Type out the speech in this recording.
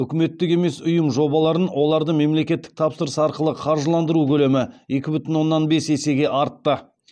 үкіметтік емес ұйым жобаларын оларды мемлекеттік тапсырыс арқылы қаржыландыру көлемі екі бүтін оннан бес есеге артты